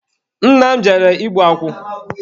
Nna m jere igbu akwụ.